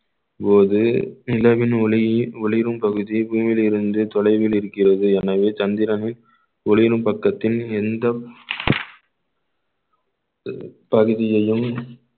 போது நிலவின் ஒளி ஒளிரும் பகுதி பூமியிலிருந்து தொலைவில் இருக்கிறது எனவே சந்திரனின் ஒளிரும் பக்கத்தில் எந்த பகுதியையும்